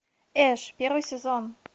эш первый сезон